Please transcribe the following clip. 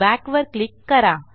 backवर click करा